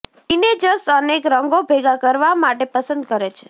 teenagers અનેક રંગો ભેગા કરવા માટે પસંદ કરે છે